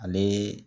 Ale